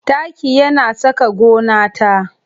Taki yana saka gona ta